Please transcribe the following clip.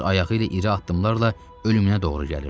Öz ayağı ilə iri addımlarla ölümünə doğru gəlirdi.